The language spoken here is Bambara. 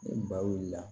Ni ba wulila